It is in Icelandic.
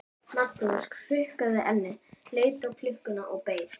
Magnús hrukkaði ennið, leit á klukkuna og beið.